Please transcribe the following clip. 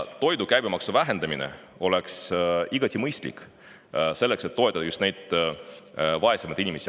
Toidu käibemaksu vähendamine oleks igati mõistlik selleks, et toetada just vaesemaid inimesi.